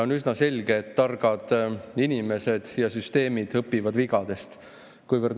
On üsna selge, et targad inimesed ja süsteemid õpivad vigadest.